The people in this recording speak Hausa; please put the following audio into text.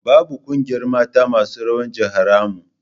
Babu ƙungiyar mata masu rawa jiharmu